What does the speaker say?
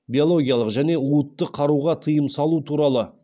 биологиялық және уытты қаруға тыйым салу туралы